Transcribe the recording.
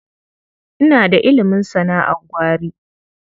Ina da ilimin sana'ar gwari.